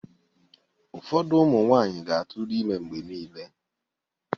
Ụfọdụ ụmụ nwaanyị ga-atụrụ ime mgbe niile.